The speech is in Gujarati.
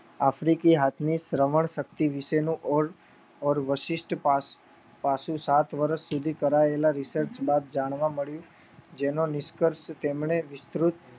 આફ્રિકી હાથની શ્રવણ શક્તિ વિશેનું ઓર વશિષ્ટ પાસું સાત વર્ષ સુધી કરાયેલા વિસર્ચ બાદ જાણવા મળ્યું જેનો નિષ્ક્રસ્ટ જેમને વિસ્તૃત